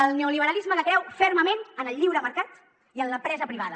el neoliberalisme que creu fermament en el lliure mercat i en l’empresa privada